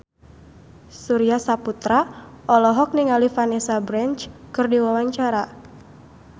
Surya Saputra olohok ningali Vanessa Branch keur diwawancara